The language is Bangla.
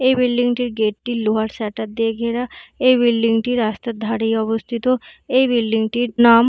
এই বিল্ডিং - টির গেট - টি লোহার সাটার দিয়ে ঘেরা এই বিল্ডিং - টি রাস্তার ধারেই অবস্থিত এই বিল্ডিং - টির নাম--